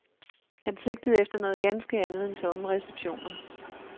Han sigtede efter noget ganske andet end tomme receptioner.